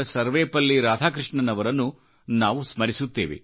ಸರ್ವೆಪಲ್ಲಿ ರಾಧಾಕೃಷ್ಣನ್ ಅವರನ್ನು ನಾವು ಸ್ಮರಿಸುತ್ತೇವೆ